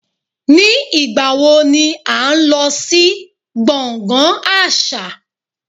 Ní ìgbà wo ni à ń lọ sí gbọ̀ngàn àṣà?